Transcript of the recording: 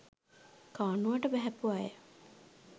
කානුවට බැහැපු අය